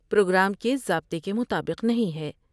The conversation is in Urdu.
پروگرام کے ضابطے کے مطابق نہیں ہے ۔